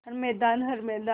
हर मैदान हर मैदान